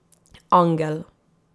Angel.